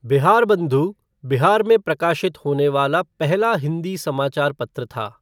बिहारबंधु बिहार में प्रकाशित होने वाला पहला हिंदी समाचार पत्र था।